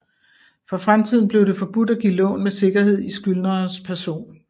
For fremtiden blev det forbudt at give lån med sikkerhed i skyldnerens person